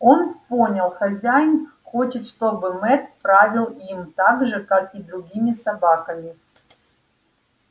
он понял хозяин хочет чтобы мэтт правил им так же как и другими собаками